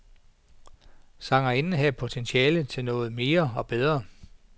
Sangerinden har potentiale til noget mere og bedre.